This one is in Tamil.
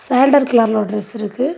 கலர்ல டிரஸ் இருக்கு.